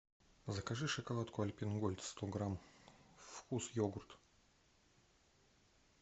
закажи шоколадку альпен гольд сто грамм вкус йогурт